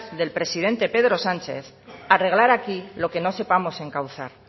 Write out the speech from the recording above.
del presidente pedro sánchez arreglar aquí lo que no sepamos encauzar